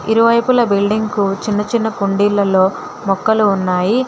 ఇరువైపుల బిల్డింగ్ కు చిన్న చిన్న కుండీలలో మొక్కలు ఉన్నాయి.